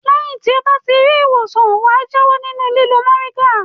Lẹ́yìn tí ó bá ti rí ìwòsàn wà jáwọ́ nínú lílo mòríngà.